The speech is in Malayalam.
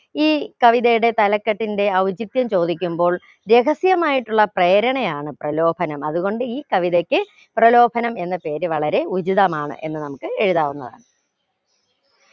ഈ കവിതയുടെ തലക്കെട്ടിന്റെ ഔചിത്യം ചോദിക്കുമ്പോൾ രഹസ്യമായിട്ടുള്ള പ്രേരണയാണ് പ്രലോഭനം അത് കൊണ്ട് ഈ കവിതക്ക് പ്രലോഭനം എന്ന പേര് വളരെ ഉചിതമാണ് എന്ന് നമുക്ക് എഴുതാവുന്നതാണ്